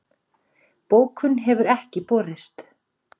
Bókun hefur ekki borist